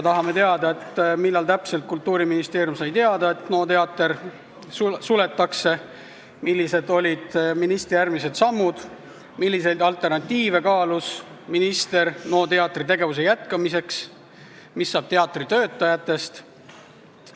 Tahame teada, millal täpselt Kultuuriministeerium sai teada, et NO teater suletakse, millised olid ministri sammud pärast seda, milliseid alternatiive kaalus minister NO teatri tegevuse jätkamiseks, mis saab teatri töötajatest.